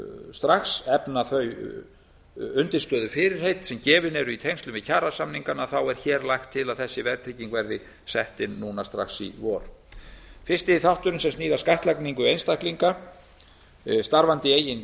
strax efna þau undirstöðufyrirheit sem gefin eru í tengslum við kjarasamningana er hér lagt til að þessi verðtrygging verði sett inn núna strax í vor fyrsti þátturinn í frumvarpinu snýr að skattlagningu einstaklinga starfandi